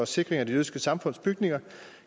sikring af det jødiske samfunds bygninger